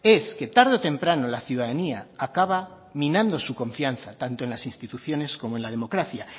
es que tarde o temprano la ciudadanía acaba minando su confianza tanto en las instituciones como en la democracia